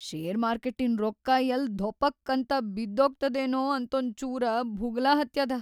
Share ಮಾರ್ಕೆಟಿನ್‌ ರೊಕ್ಕಾ ಯಲ್ಲ್ ಧೊಪಕ್ ಅಂತ ಬಿದ್ದೋಗ್ತದೇನೋ ಅಂತೊಂಚೂರ ಭುಗಲ ಹತ್ಯಾದ.